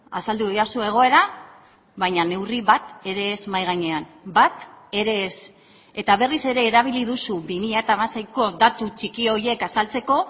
azaldu didazu egoera baina neurri bat ere ez mahai gainean bat ere ez eta berriz ere erabili duzu bi mila hamaseiko datu txiki horiek azaltzeko